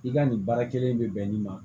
I ka nin baara kelen in bɛ bɛn ni ma